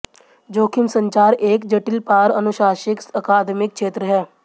जोखिम संचार एक जटिल पार अनुशासनिक अकादमिक क्षेत्र है